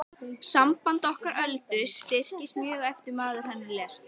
Samband okkar Öldu styrktist mjög eftir að maður hennar lést.